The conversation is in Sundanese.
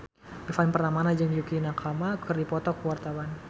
Ivan Permana jeung Yukie Nakama keur dipoto ku wartawan